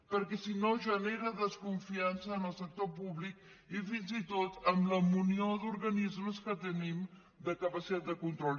perquè si no genera desconfiança en el sector públic i fins i tot amb la munió d’organismes que tenim de capacitat de control